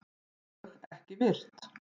LÖG EKKI VIRT